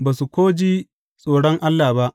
Ba su ko ji tsoron Allah ba.